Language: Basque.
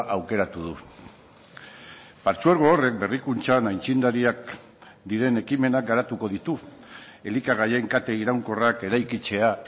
aukeratu du partzuergo horrek berrikuntzan aitzindariak diren ekimenak garatuko ditu elikagaien kate iraunkorrak eraikitzea